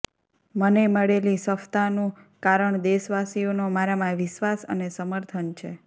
મને મળેલી સફતાનું કારણ દેશવાસીઓનો મારામાં વિશ્વાસ અને સમર્થન છે